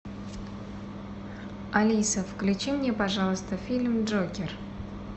алиса включи мне пожалуйста фильм джокер